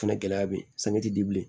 O fɛnɛ gɛlɛya be yen ti di bilen